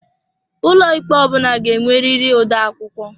Ụlọikpe ọ bụla ga-enwerịrị odeakwụkwọ.